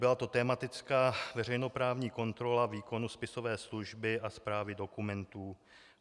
Byla to tematická veřejnoprávní kontrola výkonu spisové služby a správy dokumentů.